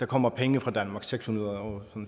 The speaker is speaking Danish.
kommer penge fra danmark seks hundrede og